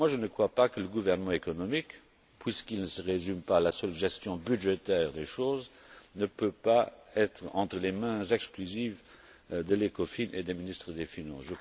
Je ne crois pas que le gouvernement économique, puisqu'il ne se résume pas à la seule gestion budgétaire des choses, ne peut pas être entre les mains exclusives de l'ECOFIN et des ministres des finances.